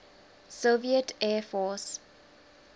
soviet air force